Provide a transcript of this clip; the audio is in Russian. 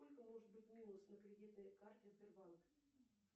сколько может быть минус на кредитной карте сбербанк